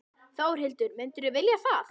Þórhildur: Myndirðu vilja það?